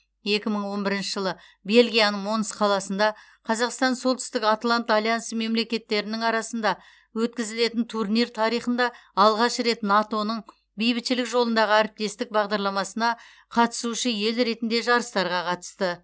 екі мың он бірінші жылы бельгияның монс қаласында қазақстан солтүстік атлант альянсы мемлекеттерінің арасында өткізілетін турнир тарихында алғаш рет нато ның бейбітшілік жолындағы әріптестік бағдарламасына қатысушы ел ретінде жарыстарға қатысты